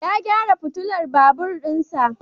Ya gyara fitilar babur din sa.